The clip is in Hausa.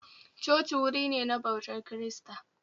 Coci wuri ne na ɓautar kirista